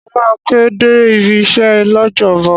Mo máa pẹ́ dé ibi iṣẹ́ l'ọ́jọ́bọ̀